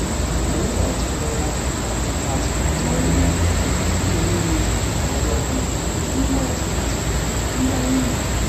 Anyị na-achịkọta ọtụtụ atumatụ ọrụ ubi site n'inyefe onye ọbụla n'ime atụmatụ ndị anyị mere.